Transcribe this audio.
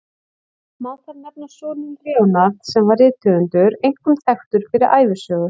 Má þar nefna soninn Leonard, sem var rithöfundur, einkum þekktur fyrir ævisögur.